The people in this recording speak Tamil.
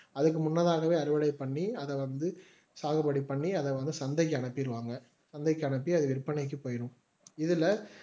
அதுக்கு முன்னதாகவே அறுவடை பண்ணி அதை வந்து சாகுபடி பண்ணி அதை வந்து சந்தைக்கு அனுப்பிடுவாங்க சந்தை அனுப்பி அது விற்பனைக்கு போயிடும் இதுல